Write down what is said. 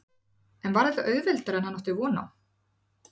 En var þetta auðveldara en hann átti von á?